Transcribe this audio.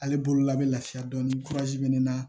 Ale bolola bɛ lafiya dɔɔni be naa